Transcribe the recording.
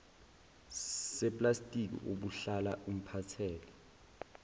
seplastiki obuhlala umphathele